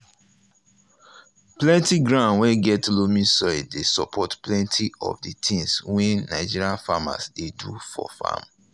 plenty ground wey get loamy soil dey support plenty of the things wey nigerian farmers dey do for farm.